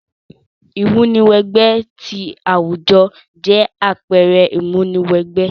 Ìmúni wẹ gbẹ ti àwùjo jẹ àpẹrẹ ìmúni wẹ gbẹ